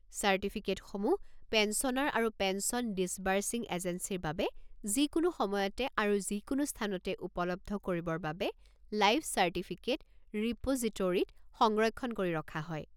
চাৰ্টিফিকেটসমূহ পেঞ্চনাৰ আৰু pension disbursing এজেঞ্চীৰ বাবে যিকোনো সময়তে আৰু যিকোনো স্থানতে উপলব্ধ কৰিবৰ বাবে লাইফ চাৰ্টিফিকেট ৰিপ'জিটোৰীত সংৰক্ষণ কৰি ৰখা হয়।